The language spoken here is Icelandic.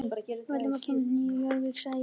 Valdimar kynni vel við sig í Nýju Jórvík, sagði ég.